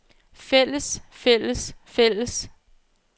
fælles fælles fælles